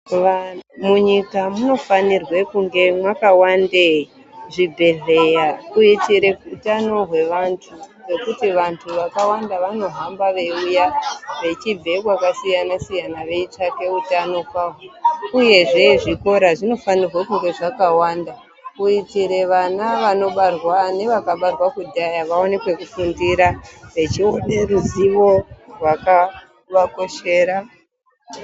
Munyika munofanirwe kunge mwakawande zvibhedhleya uye chero utano hwevantu. Ngekuti vantu vakawanda vanohamba veiuya vechibve kwakasiyana siyana veitsvake utano kwaho. Uyezve zvikora zvinofanirwa kunge zvakawanda. Kuitira vana vanobarwara nevakabarwa kudhaya vaone pekufundira vechive neruzivo rwakavakoshera.